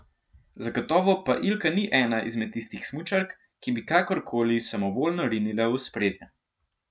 Zagotovo pa Ilka ni ena izmed tistih smučark, ki bi kakorkoli samovoljno rinila v ospredje.